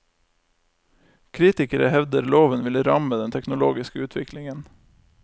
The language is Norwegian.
Kritikere hevder loven vil ramme den teknologiske utviklingen.